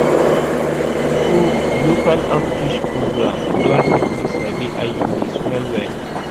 true true local outreach program don help me sabi iuds well well